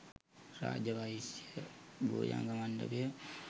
Raja Vaishya Bhujanga මණ්ඩපය